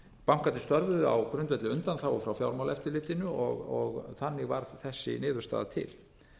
bankarnir störfuðu á grundvelli undanþágu frá fjármálaeftirlitinu og þannig varð þessi niðurstaða til